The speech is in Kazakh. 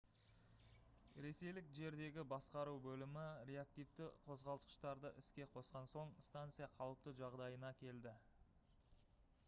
ресейлік жердегі басқару бөлімі реактивті қозғалтқыштарды іске қосқан соң станция қалыпты жағдайына келді